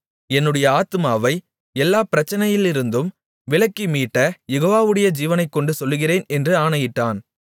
என்னுடைய ஆத்துமாவை எல்லாப் பிரச்சனையிலிருந்தும் விலக்கி மீட்ட யெகோவாவுடைய ஜீவனைக்கொண்டு சொல்லுகிறேன் என்று ஆணையிட்டான்